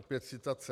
Opět citace.